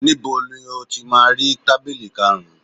Níbo ni o ti máa rí tábìlì karùn-ún